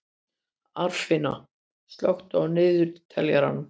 Arnfinna, slökktu á niðurteljaranum.